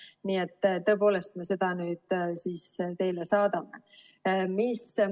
Nii et, tõepoolest, me nüüd seda siis teile saadame.